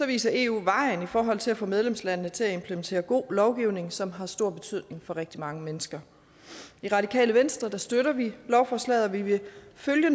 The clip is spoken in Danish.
viser eu vejen i forhold til at få medlemslandene til at implementere god lovgivning som har stor betydning for rigtig mange mennesker i radikale venstre støtter vi lovforslaget og vi vil